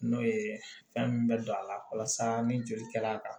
N'o ye fɛn min bɛ don a la walasa ni joli kɛla